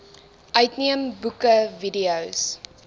uitneem boeke videos